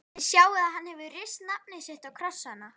Þið sjáið að hann hefur rist nafnið sitt á krossana.